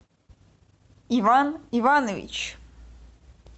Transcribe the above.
иван иванович